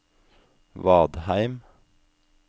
Vadheim